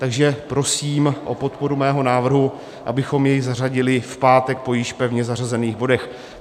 Takže prosím o podporu mého návrhu, abychom jej zařadili v pátek po již pevně zařazených bodech.